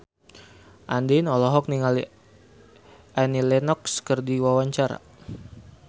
Andien olohok ningali Annie Lenox keur diwawancara